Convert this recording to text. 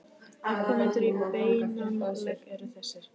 Afkomendur í beinan legg eru þessir